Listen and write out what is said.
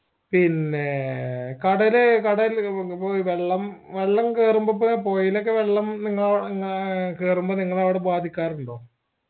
പിന്നേ കടലേ കടൽ ഇപ്പൊ വെള്ളം വെള്ളംകേറുമ്പോ പുഴയിലൊക്കെ വെള്ളം നിങ്ങ കേറുമ്പോ നിങ്ങളെ അവിടെ ബാധിക്കാറുണ്ടോ